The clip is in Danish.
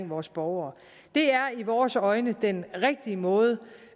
vores borgere det er i vores øjne den rigtige måde